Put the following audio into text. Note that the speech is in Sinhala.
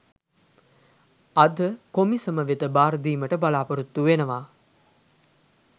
අද කොමිසම වෙත භාරදීමට බලා‍පොරොත්තු වෙනවා.